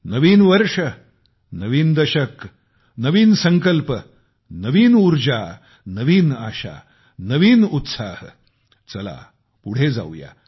नवीन वर्ष नवीन दशक नवीन संकल्प नवीन ऊर्जा नवीन आशा नवीन उत्साह चला पुढे जाऊया